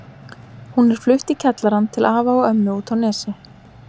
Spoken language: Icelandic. Hún er flutt í kjallarann til afa og ömmu úti á Nesi.